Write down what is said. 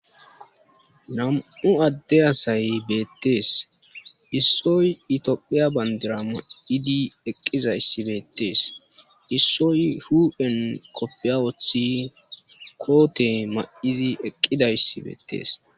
nam7u adde asay beettees issoy itiophiya bandira ma7idi eqqizayssi beettees issoy hu7en koppiya wothi koote ma7izi eqqidayssi beettees